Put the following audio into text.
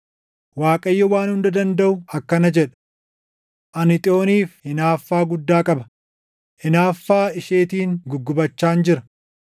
Waaqayyo Waan Hunda Dandaʼu akkana jedha: “Ani Xiyooniif hinaaffaa guddaa qaba; hinaaffaa isheetiin guggubachaan jira.”